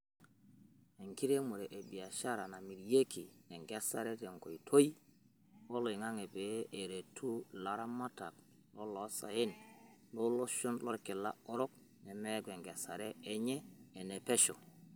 Enkiremore e biashara namiriaki enkesare tenkoitoi oloingang'e pee eretu laramatak loloosaen looloshon lolkila orok nemeeku enkesare ennye ene pesho.